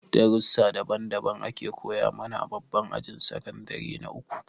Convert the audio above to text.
Darussa daban daban ake koya mana a babban ajin sakandire na uku